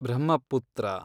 Brahmaputra